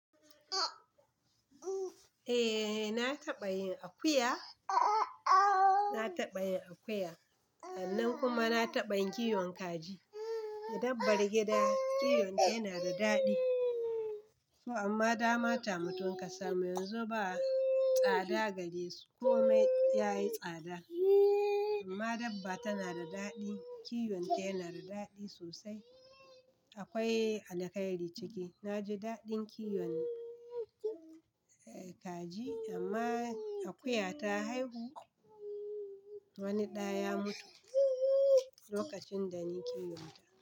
Eh na taɓa yin akuya, na taɓa yin akuya, sannan kuma na taɓa yin kiwon kaji. Dabbar gida kiwon shi yana da daɗi, to amma dama ta mutum kasa Mu yanzu ba tsada gare su, ko me ya yi tsada amma dabba tana da daɗi. Kiwon ta yana da daɗi sosai. Akwai alkhairi ciki. Na ji daɗin kiwon kaji amma akuya ta haihu wani ɗa ya mutu lokacin da ni kiwon ta.